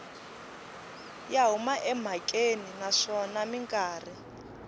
ya huma emhakeni naswona mikarhi